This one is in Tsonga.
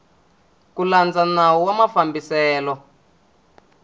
ku landza nawu wa mafambiselo